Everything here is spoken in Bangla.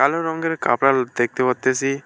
কালো রঙ্গের কাপড়া দেখতে পারতেসি।